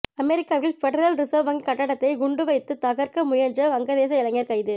அமெரிக்காவில் Federal Reserve வங்கி கட்டடத்தை குண்டு வைத்து தகர்க்க முயன்ற வங்கதேச இளைஞர் கைது